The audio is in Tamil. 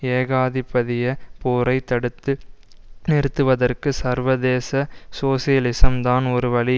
ஏகாதிபதிய போரை தடுத்து நிறுத்துவதற்கு சர்வதேச சோசியலிசம் தான் ஒரு வழி